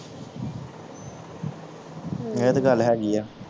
ਹਮ ਇਹ ਤੇ ਗੱਲ ਹੈਗੀ ਆ